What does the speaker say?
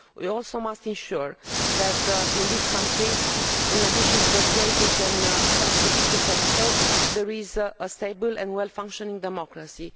We also must ensure that in these countries, in addition to the trade we can help to foster, there is a stable and well functioning democracy.